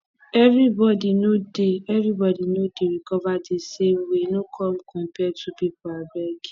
everybody no dey everybody no dey recover di same way no come compare two pipo abeg